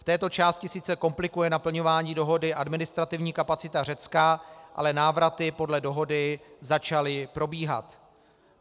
V této části sice komplikuje naplňování dohody administrativní kapacita Řecka, ale návraty podle dohody začaly probíhat.